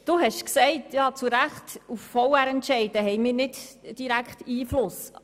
: Sie haben zu Recht gesagt, auf Verwaltungsratsentscheide hätten wir keinen direkten Einfluss.